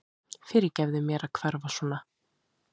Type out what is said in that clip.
Fyrirgefðu mér að hverfa svona.